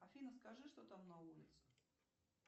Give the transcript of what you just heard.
афина скажи что там на улице